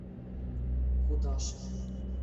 кудашеве